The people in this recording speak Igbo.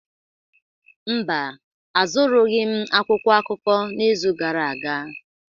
Mba, azụrụghị m akwụkwọ akụkọ n'izu gara aga.